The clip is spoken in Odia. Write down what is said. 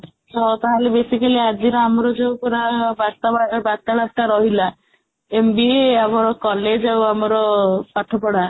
ହଁ, ତାହାଲେ basically ଆଜିର ଆମର ଯୋଉ ପୁରା ବାର୍ତା ଆଃ ବାର୍ତା ବାର୍ତା ରହିଲା MBA ଆମର college ଆଉ ଆମର ପାଠପଢା